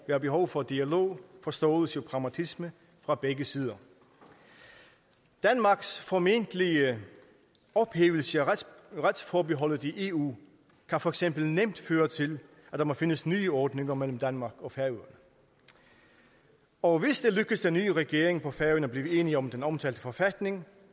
være behov for dialog forståelse og pragmatisme fra begge sider danmarks formentlige ophævelse af retsforbeholdet i eu kan for eksempel nemt føre til at der må findes nye ordninger mellem danmark og færøerne og hvis det lykkes den nye regering på færøerne at blive enige om den omtalte forfatning